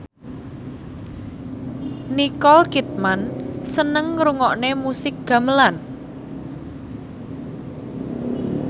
Nicole Kidman seneng ngrungokne musik gamelan